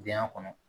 Biyɛn kɔnɔ